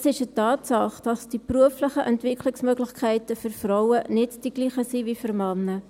Es ist eine Tatsache, dass die beruflichen Entwicklungsmöglichkeiten für Frauen nicht dieselben sind wie für Männer.